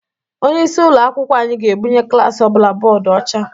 Onyeisi ụlọ akwụkwọ anyị ga-ebunye klaasị ọbụla bọdụ ọcha.